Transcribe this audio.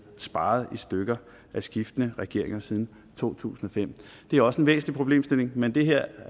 sparet i stykker af skiftende regeringer siden to tusind og fem det er også en væsentlig problemstilling men det her